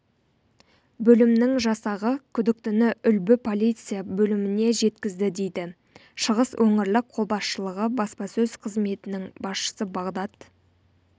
бөлімінің жасағы күдіктіні үлбі полиция бөліміне жеткізді дейді шығыс өңірлік қолбасшылығы баспасөз қызметінің басшысы бағдат